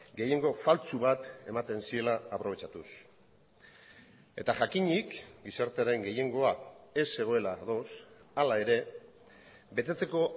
gehiengo faltsu bat ematen ziela aprobetxatuz eta jakinik gizartearen gehiengoa ez zegoela ados hala ere betetzeko